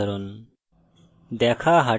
যা মানুষ শ্রেণীর জন্য সাধারণ